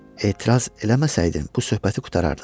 Etiraz eləməsəydim bu söhbəti qurtarardıq.